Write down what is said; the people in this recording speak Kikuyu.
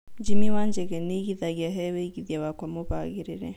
jimmy wanjigi nĩ aĩgĩthagĩa he wĩigĩthĩa wakwa mũbagĩrĩre